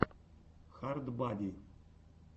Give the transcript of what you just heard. хард бади